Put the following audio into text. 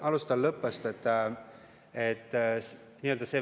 Alustan lõpust.